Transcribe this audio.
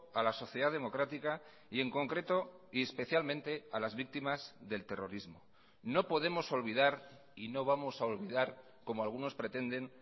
a la sociedad democrática y en concreto y especialmente a las víctimas del terrorismo no podemos olvidar y no vamos a olvidar como algunos pretenden